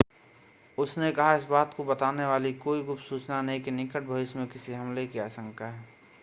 उसने कहा इस बात को बताने वाली कोई गुप्त सूचना नहीं है कि निकट भविष्य में किसी हमले की आशंका है